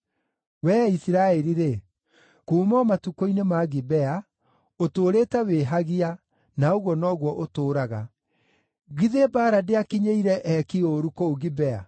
“Wee Isiraeli-rĩ, kuuma o matukũ-inĩ ma Gibea ũtũũrĩte wĩhagia, na ũguo noguo ũtũũraga. Githĩ mbaara ndĩakinyĩire eeki ũũru kũu Gibea?